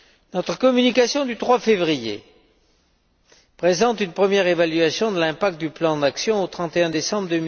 Notre communication du 3 février présente une première évaluation de l'impact du plan d'action au 31 décembre